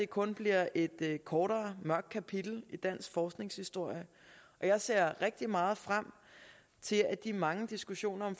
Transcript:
kun bliver et kortere mørkt kapitel i dansk forsknings historie jeg ser rigtig meget frem til at de mange diskussioner